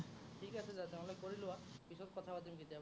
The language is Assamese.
ঠিক আছে , তেনেহ'লে কৰি লোৱা। পিছত কথা পাতিম কেতিয়াবা।